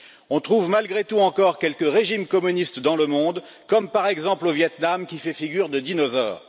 On trouve malgré tout encore quelques régimes communistes dans le monde, comme par exemple au Vietnam, qui fait figure de dinosaure.